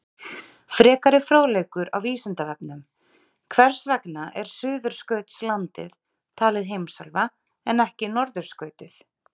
Frekari fróðleikur á Vísindavefnum: Hvers vegna er Suðurskautslandið talið heimsálfa en ekki norðurskautið?